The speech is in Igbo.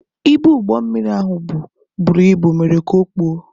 Ibu ụgbọ mmiri ahụ bu buru ibu mere ka okpuo.